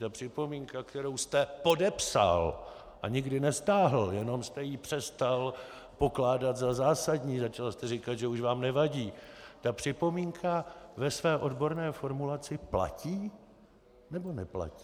Ta připomínka, kterou jste podepsal a nikdy nestáhl, jenom jste ji přestal pokládat za zásadní, začal jste říkat, že už vám nevadí, ta připomínka ve své odborné formulaci platí, nebo neplatí?